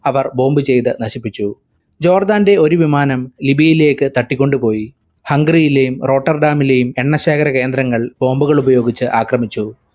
അവർ bomb ചയ്തു നശിപ്പിച്ചു. ജോർദാന്റെ ഒരു വിമാനം ലിബിയയിലേക്ക് തട്ടിക്കൊണ്ടുപോയി. ഹംഗറിയിലെ റോട്ടർഡാമിലെയും എണ്ണശേഖര കേന്ദ്രങ്ങൾ bomb ഉകളുപയോഗിച്ചു ആക്രമിച്ചു.